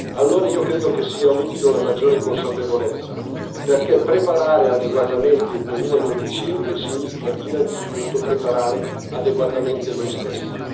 Allora io credo che sia utile una maggiore consapevolezza perché preparare adeguatamente il 2025 significa innanzitutto preparare adeguatamente noi stessi.